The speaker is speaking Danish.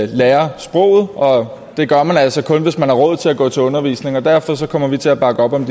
lærer sproget og det gør man altså kun hvis man har råd til at gå til undervisning derfor kommer vi til at bakke op om